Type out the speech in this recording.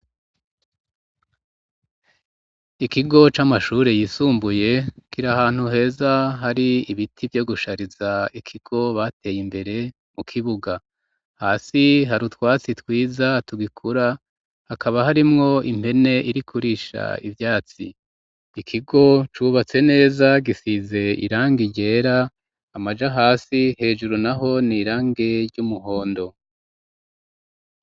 Ikigo c'amashure yisumbuye kira ahantu heza hari ibiti vyo gushariza ikigo bateye imbere mu kibuga hasi hari utwatsi twiza tugikura hakaba harimwo impene irikurisha ivyatsi ikigo cubatsene ezagisize irange ryera amaja hasi hejuru na ho ni irange ry'umuhondo.